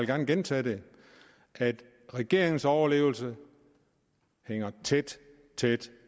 gerne gentage det at regeringens overlevelse hænger tæt tæt